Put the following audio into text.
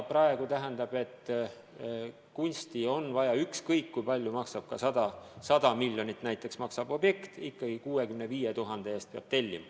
Tähendab, kunsti on vaja ja ükskõik kui palju objekt maksab, näiteks 100 miljonit, ikkagi 65 000 euro eest peab tellima.